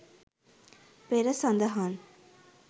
පෙර සදහන්